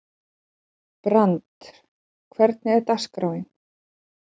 Brandr, hvernig er dagskráin?